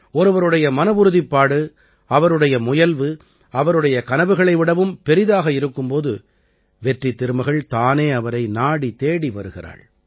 ஒருவருடைய மனவுறுதிப்பாடு அவருடைய முயல்வு அவருடைய கனவுகளை விடவும் பெரியதாக இருக்கும் போது வெற்றித்திருமகள் தானே அவரை நாடித் தேடி வருகிறாள்